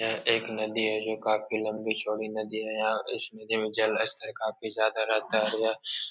यह एक नदी है जो काफी लम्बी-चौड़ी नदी है। यहाँ इस नदी में जलस्तर काफी ज़्यादा रहता है। --